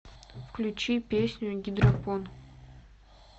включи песню гидропон